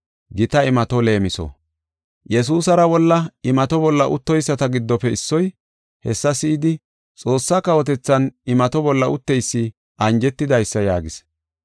Yesuusara wolla imato bolla uttoyisata giddofe issoy, hessa si7idi, “Xoossa kawotethan imato bolla utteysi anjetidaysa” yaagis.